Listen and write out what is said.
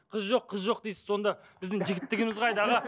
қыз жоқ қыз жоқ дейсіз сонды біздің жігіттіміз қайда аға